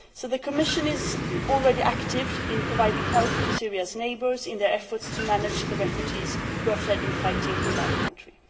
The Commission is already active in providing help to Syria's neighbours in their efforts to cope with the refugees who have fled the in fighting in that country.